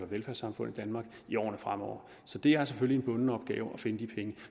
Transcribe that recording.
velfærdssamfund i danmark i årene fremover så det er selvfølgelig en bunden opgave at finde de penge